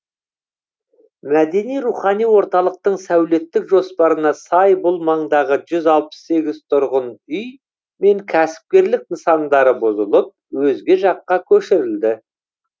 мәдени рухани орталықтың сәулеттік жоспарына сай бұл маңдағы жүз алпыс сегіз тұрғын үй мен кәсіпкерлік нысандары бұзылып өзге жаққа көшірілді